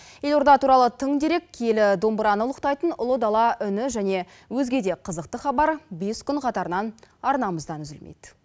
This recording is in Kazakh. елорда туралы тың дерек киелі домбыраны ұлықтайтын ұлы дала үні және өзге де қызықты хабар бес күн қатарынан арнамыздан үзілмейді